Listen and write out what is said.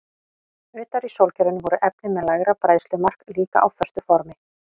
Utar í sólkerfinu voru efni með lægra bræðslumark líka á föstu formi.